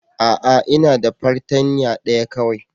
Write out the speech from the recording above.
A'a! Ina da fartanya daya kawai.